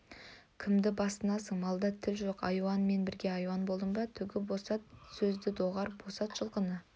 кімді басынасың малда тіл жоқ айуанмен бірге айуан болдың ба түгі босат сөзді доғар босат жылқыны